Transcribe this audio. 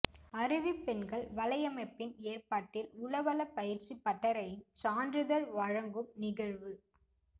அருவி பெண்கள் வலையமைப்பின் ஏற்பாட்டில் உளவள பயிற்சி பட்டறையின் சான்றிதழ் வழங்கும் நிகழ்வு